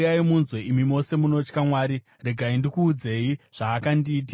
Uyai munzwe, imi mose munotya Mwari; ndikuudzei zvaakandiitira.